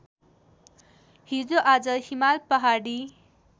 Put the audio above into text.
हिजोआज हिमाल पहाडी